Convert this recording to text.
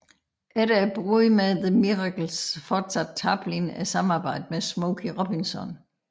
Efter bruddet med The Miracles fortsatte Tarplin samarbejdet med Smokey Robinson